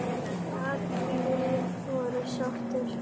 Allir voru sáttir.